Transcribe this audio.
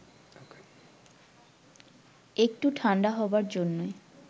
একটু ঠান্ডা হবার জন্যে